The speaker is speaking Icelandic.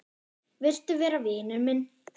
Viltu vera vinur minn?